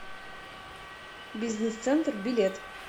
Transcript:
бизнес центр билет